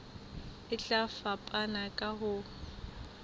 e tla fapana ka ho